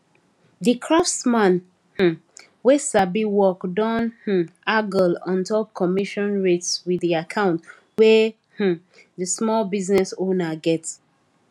the craftsman um wey sabi work don um haggle ontop commission rates with the account wey um the small business owner get